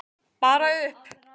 Bara upp!